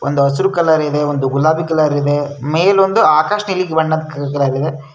ಒಂದು ಹಸಿರು ಕಲರ್ ಇದೆ ಒಂದು ಗುಲಾಬಿ ಕಲರ್ ಇದೆ ಮೇಲೆ ಒಂದು ಆಕಾಶ ನೀಲಿ ಬಣ್ಣದ್ ಕಲರ್ ಇದೆ.